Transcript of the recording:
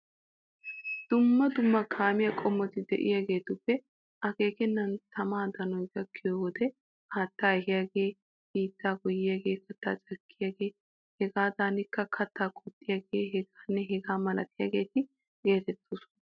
Dumma dumma kaamiya qommoti de'iyageetuppe akeekennan tamaa danoy gakkiyo wode haattaa ehiyagee, biittaa goyyiyagee, kattaa cakkiyagee hegaadankka kattaa qoxxiyagee hegaanne hegaa malatiyageeta geetettoosona.